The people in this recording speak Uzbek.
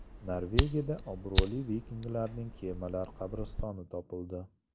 Norvegiyada obro‘li vikinglarning kemalar qabristoni topildi .